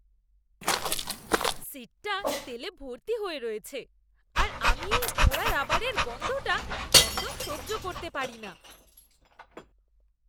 সিটটা তেলে ভর্তি হয়ে রয়েছে আর আমি এই পোড়া রাবারের গন্ধটা একদম সহ্য করতে পারিনা।